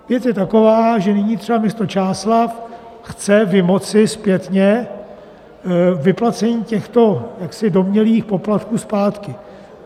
Věc je taková, že nyní třeba město Čáslav chce vymoci zpětně vyplacení těchto jaksi domnělých poplatků zpátky.